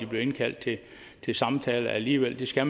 blevet indkaldt til samtale alligevel det skal